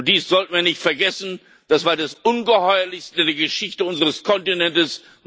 Dies sollte man nicht vergessen, das war das Ungeheuerlichste der Geschichte unseres Kontinentes.